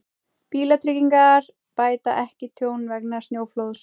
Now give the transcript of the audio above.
Bílatryggingar bæta ekki tjón vegna snjóflóðs